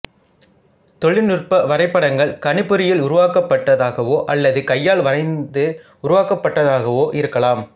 தொழிற்நுட்ப வரைபடங்கள் கணிப்பொறியில் உருவாக்கப்பட்டதாகவோ அல்லது கையால் வரைந்து உருவாக்கப்பட்டதாகவோ இருக்கலாம்